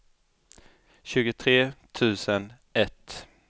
tjugotre tusen ett